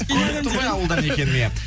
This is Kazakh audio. көрініп тұр ғой ауылдан екенім иә